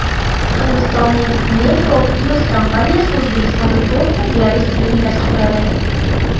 Hindistonning NephroPlus kompaniyasi O‘zbekistonda to‘rtta dializ klinikasi quradi.